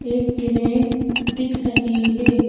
एक क्रेन दिख रही है।